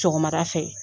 Sɔgɔmada fɛ